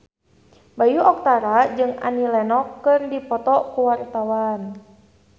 Bayu Octara jeung Annie Lenox keur dipoto ku wartawan